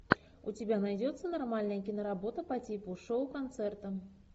у тебя найдется нормальная киноработа по типу шоу концерта